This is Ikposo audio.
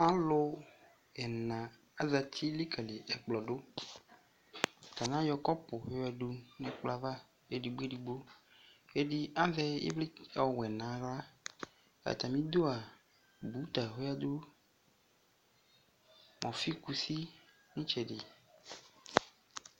Alu ɛna azati likale ɛkplɔ do Atane ayɔ kɔpu yo yiadu no ɛkolɔ ava edigbo edigbo Ɛde azɛ evle ɔwɛ no ahla Atame dua buta oyadu no ɔfekusi no itsɛde